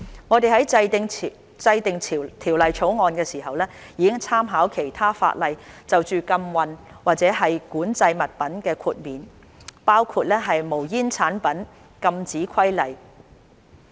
我們在制定《條例草案》時，已參考其他法例就禁運或管制物品的豁免，包括《無煙煙草產品規例》。